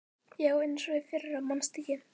Já, eins og í fyrra manstu ekki?